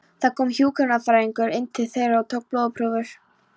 Það kom hjúkrunarfræðingur inn til þeirra og tók blóðprufur.